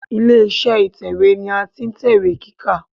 Ilé iṣẹ́ ìtẹ̀wẹ́ ni a ti ń tẹ̀wé kíkà.